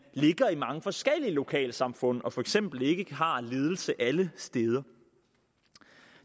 ligger i mange forskellige lokalsamfund og for eksempel ikke har ledelse alle steder